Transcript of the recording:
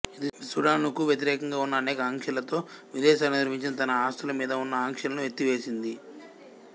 ఇది సుడానుకు వ్యతిరేకంగా ఉన్న అనేక ఆంక్షలతో విదేశాలలో నిర్వహించిన తన ఆస్తుల మీద ఉన్న అంక్షలను ఎత్తివేసింది